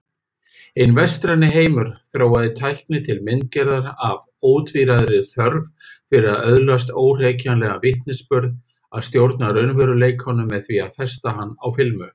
Hinn vestræni heimur þróaði tækni til myndgerðar af ótvíræðri þörf fyrir að öðlast óhrekjanlegan vitnisburð, að stjórna raunveruleikanum með því að festa hann á filmu.